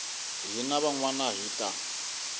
hina van wana hi ta